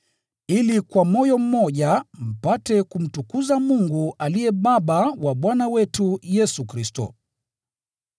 ili kwa moyo mmoja mpate kumtukuza Mungu aliye Baba wa Bwana wetu Yesu Kristo.